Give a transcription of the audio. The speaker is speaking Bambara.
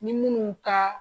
Ni minnu ka